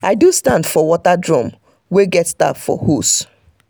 i do stand for water drum wey get tap for hose.